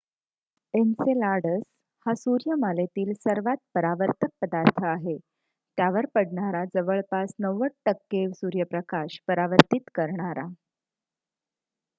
Enceladus हा सूर्यमालेतील सर्वात परावर्तक पदार्थ आहे त्यावर पडणारा जवळपास 90% सूर्यप्रकाश परावर्तित करणारा